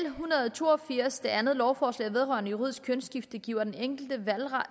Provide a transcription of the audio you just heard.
en hundrede og to og firs det andet lovforslag vedrørende juridisk kønsskifte giver den enkelte valget